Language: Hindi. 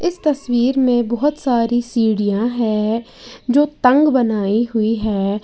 इस तस्वीर में बहुत सारी सीढ़ियां हैं जो तंग बनाई हुई हैं।